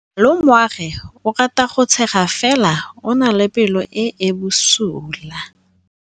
Malomagwe o rata go tshega fela o na le pelo e e bosula.